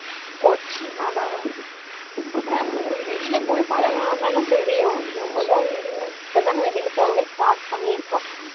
கொச்சின் அதா வெளியில போனா தான் தெரியும்.இப்ப தான் வெளியில போகவே start பண்ணிருக்கோம்.